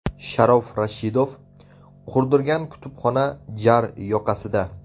Sharof Rashidov qurdirgan kutubxona jar yoqasida.